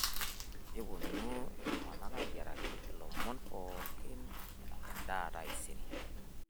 keponu iltunganak ayiraki lomon pookin edaaa taisere